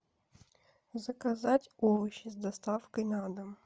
заказать овощи с доставкой на дом